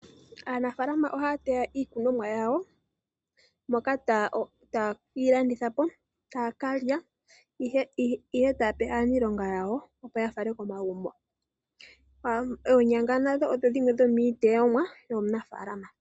Aanafalama ohaya teya iikunomwa yawo, moka taye yi landithapo ,taya kalya nenge yape aaniilonga yawo yafale komagumbo. Oonyanga nadho odhili dhimwe dhomiiteyomwa mbyoka.